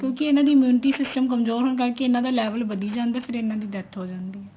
ਕਿਉਂਕਿ ਇਹਨਾ ਦੀ immunity system ਕਮਜ਼ੋਰ ਹੋਣ ਕਰਕੇ ਇਹਨਾ ਦਾ level ਵਧੀ ਜਾਂਦਾ ਫ਼ੇਰ ਇਹਨਾ ਦੀ death ਹੋ ਜਾਂਦੀ ਹੈ